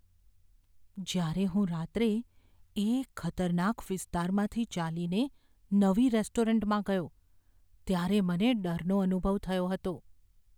જ્યારે હું રાત્રે એક ખતરનાક વિસ્તારમાંથી ચાલીને નવી રેસ્ટોરન્ટમાં ગયો ત્યારે મને ડરનો અનુભવ થયો હતો.